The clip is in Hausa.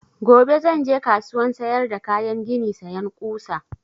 Gobe zan je kasuwan sayar da kayan gini sayan ƙusa